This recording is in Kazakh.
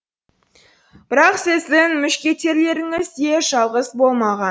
бірақ сіздің мушкетерлеріңіз де жалғыз болмаған